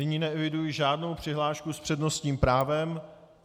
Nyní neeviduji žádnou přihlášku s přednostním právem.